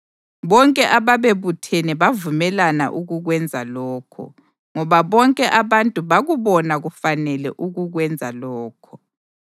Bonke ababebuthene bavumelana ukukwenza lokho, ngoba bonke abantu bakubona kufanele ukukwenza lokho.